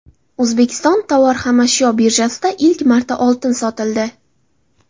O‘zbekiston tovar-xomashyo birjasida ilk marta oltin sotildi.